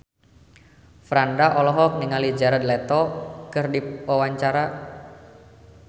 Franda olohok ningali Jared Leto keur diwawancara